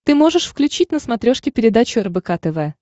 ты можешь включить на смотрешке передачу рбк тв